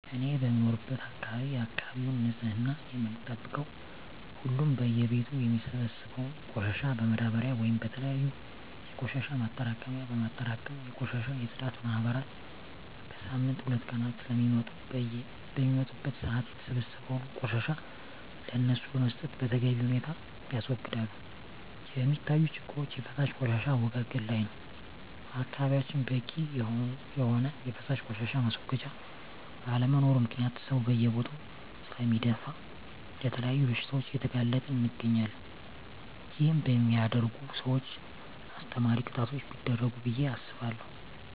እኔ በምኖርበት አካባቢ የአካባቢውን ንፅህና የምንጠብቀው ሁሉም በየ ቤቱ የሚሰበሰበውን ቆሻሻ በማዳበርያ ወይም በተለያዩ የቆሻሻ ማጠራቀሚያ በማጠራቀም የቆሻሻ የፅዳት ማህበራት በሳምንት ሁለት ቀናት ስለሚመጡ በሚመጡበት ሰአት የተሰበሰበውን ቆሻሻ ለነሱ በመስጠት በተገቢ ሁኔታ ያስወግዳሉ። የሚታዪ ችግሮች የፈሳሽ ቆሻሻ አወጋገድ ላይ ነው በአካባቢያችን በቂ የሆነ የፈሳሽ ቆሻሻ ማስወገጃ ባለመኖሩ ምክንያት ሰው በየቦታው ስለሚደፍ ለተለያዩ በሽታዎች እየተጋለጠን እንገኛለን ይህን በሚያደርጉ ሰውች አስተማሪ ቅጣቶች ቢደረጉ ብየ አስባለሁ።